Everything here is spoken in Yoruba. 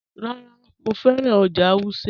Rárá, Mọ fẹ́ran ọ́jà̀ Wùsẹ́.